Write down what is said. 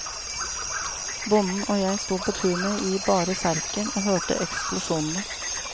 Bonden og jeg stod på tunet i bare serken og hørte eksplosjonene.